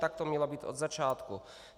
Tak to mělo být od začátku.